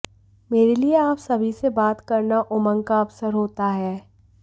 मेरे लिए आप सभी से बात करना उमंग का अवसर होता है